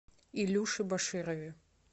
илюше баширове